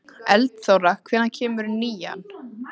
Eldþóra, hvenær kemur nían?